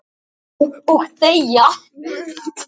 """Já, og deyja"""